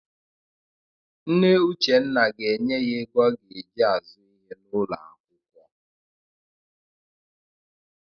Nne Uchenna ga-enye ya ego ọ ga-eji azụ ihe n'ụlọakwụkwọ.